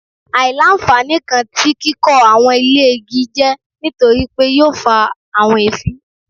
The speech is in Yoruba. Aila-nfani kan ti kikọ awọn ile igi jẹ nitori pe yoo fa awọn eefin